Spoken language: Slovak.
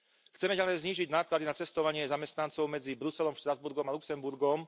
Chceme ďalej znížiť náklady na cestovanie zamestnancov medzi Bruselom, Štrasburgom a Luxemburgom.